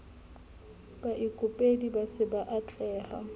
sa baikopedi ba sa atlehang